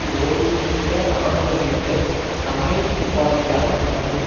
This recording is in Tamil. ஓய்வு பெற்ற இராணுவ மேஜர் ரமேஷ் உபாத்யாய் மற்றும்